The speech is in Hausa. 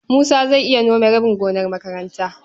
Musa zai iya nome rabin gonar makaranta.